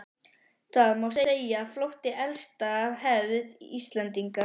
Það má segja að flótti sé elsta hefð Íslendinga.